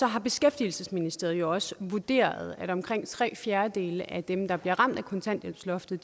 har beskæftigelsesministeriet jo også vurderet at omkring tre fjerdedele af dem der bliver ramt af kontanthjælpsloftet